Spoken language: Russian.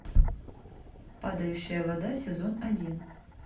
падающая вода сезон один